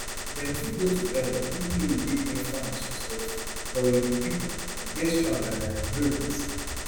dem fit go to hell even though e dey painful and disrespectful but we be pipo we dey strong and i agree wit